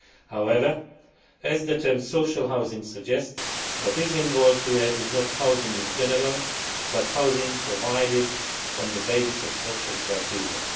However, as the term social housing' suggests, what is involved here is not housing in general, but housing provided on the basis of social criteria.